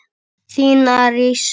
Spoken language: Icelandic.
Þín Arís.